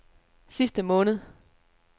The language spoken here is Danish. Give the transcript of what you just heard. sidste måned